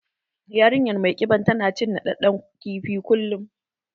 Yarinyar mai ƙiban tana cin naɗaɗɗen kifi kullum